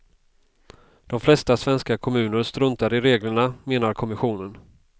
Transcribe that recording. De flesta svenska kommuner struntar i reglerna, menar kommissionen.